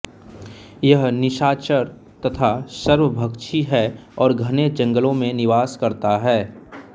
यह निशाचर तथा सर्वभक्षी है और घने जंगलों में निवास करता है